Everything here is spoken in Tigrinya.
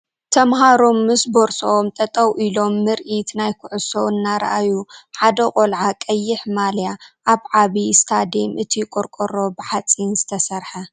ተመሃሮ ምስ ቦርስኦም ጠጠው ኢሎም ምርኢት ናይ ኩዕሶ እናረኣዩ ሓደ ቆልዓ ቀይሕ ማልያ ኣብ ዓብይ እስታዴም እቲ ቆርቆሮ ብሓፂን ዝተሰርሓ